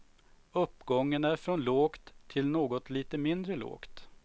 Uppgången är från lågt till något lite mindre lågt.